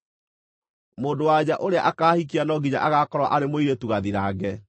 “ ‘Mũndũ-wa-nja ũrĩa akaahikia no nginya agaakorwo arĩ mũirĩtu gathirange.